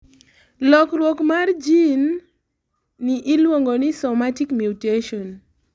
lokruok mar jin ni iluongo ni somatic mutation